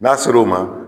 N'a ser'o ma